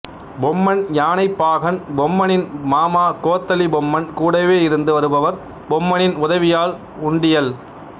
பொம்மன் யானைப்பாகன் பொம்மனின் மாமா கோத்தலி பொம்மன் கூடவே இருந்து வருபவர் பொம்மனின் உதவியாள் உண்டியல்